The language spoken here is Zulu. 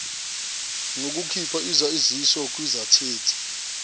ngokukhipha isaziso kwigazethi